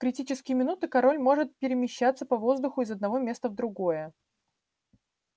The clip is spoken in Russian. в критические минуты король может перемещаться по воздуху из одного места в другое